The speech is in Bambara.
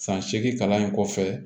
San seegin kalan in kɔfɛ